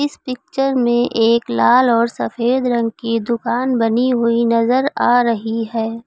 Picture में एक लाल और सफेद रंग की दुकान बनी हुई नजर आ रही है।